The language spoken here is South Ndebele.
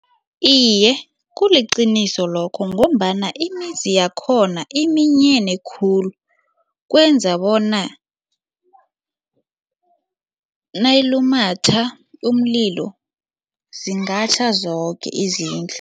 Iye, kuliqiniso lokho ngombana imizi yakhona iminyene khulu kwenza bona nayilumatha umlilo zingatjha zoke izindlu.